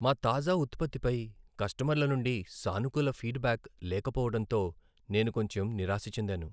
మా తాజా ఉత్పత్తి పై కస్టమర్ల నుండి సానుకూల ఫీడ్ బ్యాక్ లేకపోవడంతో నేను కొంచెం నిరాశ చెందాను.